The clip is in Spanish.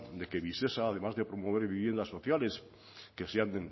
de que visesa además de promover viviendas sociales que sean